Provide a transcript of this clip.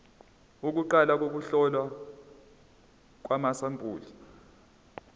kuqala ukuhlolwa kwamasampuli